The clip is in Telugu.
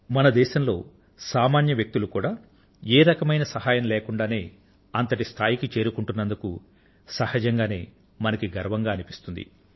మన దేశంలో సామాన్య వ్యక్తులు కూడా ఏ రకమైన సహాయం లేకుండా అంతటి స్థాయికి చేరుకుంటున్నందుకు స్వాభావికంగానే మనకి గర్వంగా అనిపిస్తుంది